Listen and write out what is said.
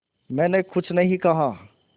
मैंने कुछ नहीं कहा